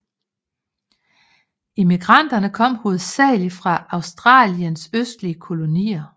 Immigranterne kom hovedsageligt fra Australiens østlige kolonier